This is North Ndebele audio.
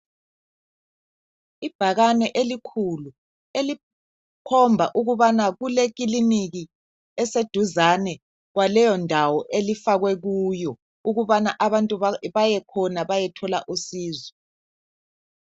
Ibhakane elikhulu elikhomba ukubana kulekiliniki eseduzane laleyondawo elifakwe kiyo ukubana abantu bayekhona bayethola usizo.